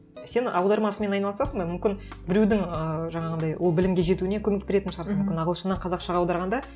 сен аударма ісімен айналысасың ба мүмкін біреудің ыыы жаңағыдай ол білімге жетуіне көмек беретін шығарсың мүмкін ағылшыннан қазақшаға аударғанда